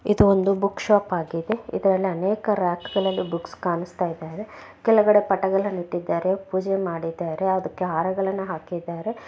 ಇದು ಒಂದು book shop ಆಗಿದೆ ಇದ್ರಲ್ಲಿ ಅನೇಕ ರಕ್ಕ್ಗಳಲ್ಲು ಬುಕ್ಸ್ ಕಾಣಸ್ತಾ ಇದಾವೆ ಕೆಳಗಡೆ ಪಟಗಳ ನಿಂತಿದ್ದಾರೆ ಪೂಜೆ ಮಾಡಿದ್ದಾರೆ ಅದಕ್ಕೆ ಹಾರಗಳನ್ನ ಹಾಕಿದ್ದಾರೆ.